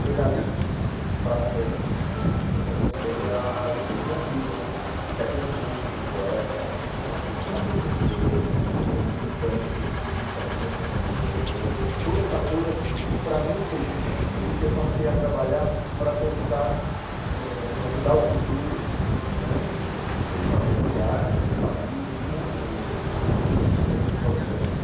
Foi dali para frente que comecei a definir minha vida, até como músico, poeta, como arte-educador que sou e como militante, ativista mesmo eh, de toda essa coisa que, para mim, foi difícil e que passei a trabalhar para tentar ãh ajudar o futuro né, o futuro da nossa cidade, do nosso país, do mundo mesmo, porque eu já fiz isso também fora do Brasil.